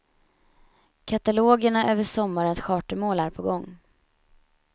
Katalogerna över sommarens chartermål är på gång.